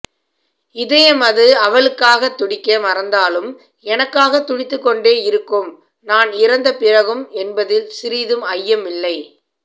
இதயமது அவளுக்காக துடிக்க மறந்தாலும் எனக்காக துடித்துக் கொண்டே இருக்கும் நான் இறந்த பிறகும் என்பதில் சிறிதும் ஐயம் இல்லை